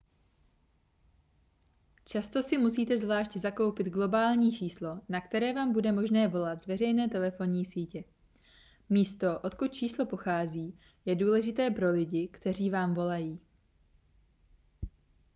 často si musíte zvlášť zakoupit globální číslo na které vám bude možné volat z veřejné telefonní sítě místo odkud číslo pochází je důležité pro lidi kteří vám volají